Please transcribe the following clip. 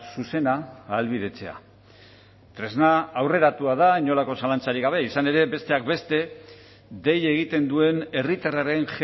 zuzena ahalbidetzea tresna aurreratua da inolako zalantzarik gabe izan ere besteak beste dei egiten duen herritarraren